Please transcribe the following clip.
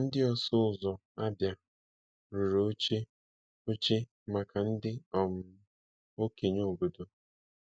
Ndị ọsụ ụzọ Abia rụrụ oche oche maka ndị um okenye obodo.